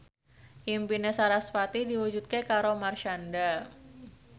impine sarasvati diwujudke karo Marshanda